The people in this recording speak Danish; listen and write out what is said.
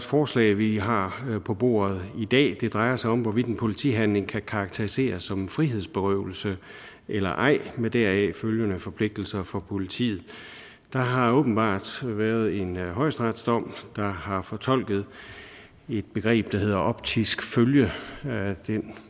forslag vi har på bordet i dag det drejer sig om hvorvidt en politihandling kan karakteriseres som en frihedsberøvelse eller ej med deraf følgende forpligtelser for politiet der har åbenbart været en højesteretsdom der har fortolket et begreb der hedder optisk følge altså den